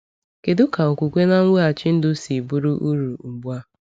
Kedu ka okwukwe na mweghachi ndụ si bụrụ uru ugbu a?